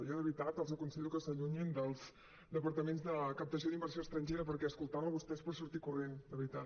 jo de veritat els aconsello que s’allunyin dels departaments de captació d’inversió estrangera perquè escoltant lo a vostè és per sortir corrents de veritat